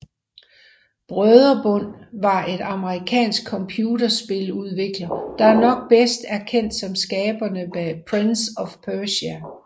Brøderbund var et amerikansk computerspiludvikler der nok bedst er kendt som skaberne bag Prince of Persia